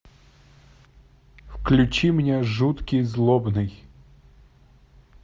включи мне жуткий злобный